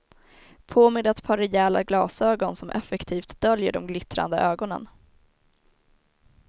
På med ett par rejäla glasögon som effektivt döljer de glittrande ögonen.